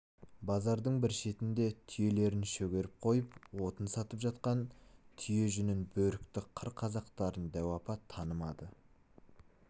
базардың бір шетінде түйелерін шөгеріп қойып отын сатып жатқан түйе жүнін бөрікті қыр қазақтарын дәу апа танымады